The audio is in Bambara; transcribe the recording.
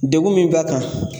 Degun min b'a kan